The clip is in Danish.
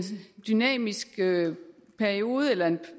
dynamisk periode eller